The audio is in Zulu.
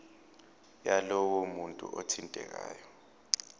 yalowo muntu othintekayo